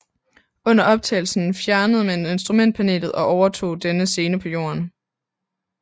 Under optagelsen fjernede man instrumentpanelet og optog denne scene på jorden